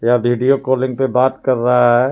यह video calling पे बात कर रहा है.